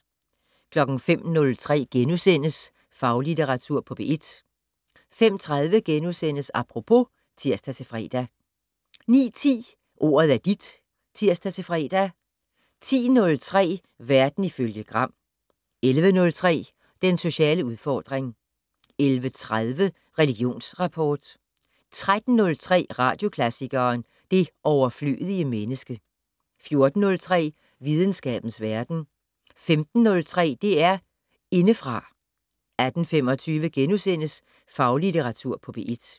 05:03: Faglitteratur på P1 * 05:30: Apropos *(tir-fre) 09:10: Ordet er dit (tir-fre) 10:03: Verden ifølge Gram 11:03: Den sociale udfordring 11:30: Religionsrapport 13:03: Radioklassikeren: Det overflødige menneske 14:03: Videnskabens Verden 15:03: DR Indefra 18:25: Faglitteratur på P1 *